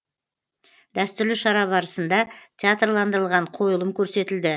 дәстүрлі шара барысында театрландырылған қойылым көрсетілді